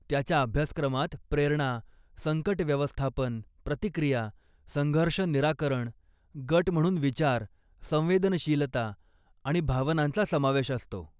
त्याच्या अभ्यासक्रमात प्रेरणा, संकट व्यवस्थापन, प्रतिक्रिया, संघर्ष निराकरण, गट म्हणून विचार, संवेदनशीलता आणि भावनांचा समावेश असतो.